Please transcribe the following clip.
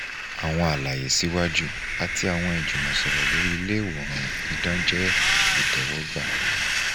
awọn alaye siwaju ati awọn ijumọsọrọ lori ile iwoan idan jẹ itẹwọgba